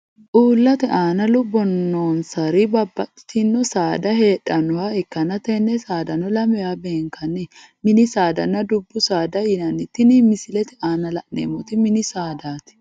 Uulate aanna lubo noonsari babbaxitino saada heedhanoha ikanna tenne saadano lamewa benkanni minni saadanna dubu saada yinni tinni misilete aanna la'neemoti minni saadaati.